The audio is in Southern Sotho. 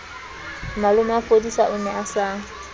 malomafodisa o ne a sa